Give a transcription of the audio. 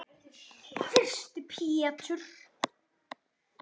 Þyrsti Pétur.